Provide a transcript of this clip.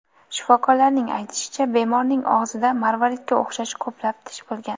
Shifokorlarning aytishicha, bemorning og‘zida marvaridga o‘xshash ko‘plab tish bo‘lgan.